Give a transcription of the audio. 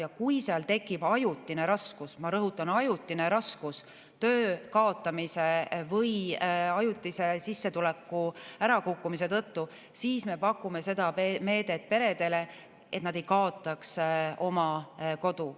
Ja kui tekib ajutine raskus – ma rõhutan: ajutine raskus –, töö kaotamise või sissetuleku ärakukkumise tõttu, siis me pakume peredele seda meedet, et nad ei kaotaks oma kodu.